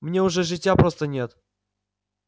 мне уже житья просто нет